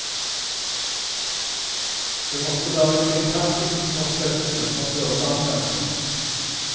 Det måtte være kringkastingsforskriftene som burde anvendes.